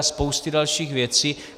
A spousty dalších věcí...